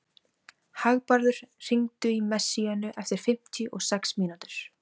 Hagbarður, hringdu í Messíönu eftir fimmtíu og sex mínútur.